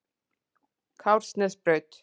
Kársnesbraut